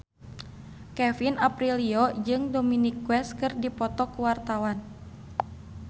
Kevin Aprilio jeung Dominic West keur dipoto ku wartawan